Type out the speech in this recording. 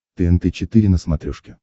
тнт четыре на смотрешке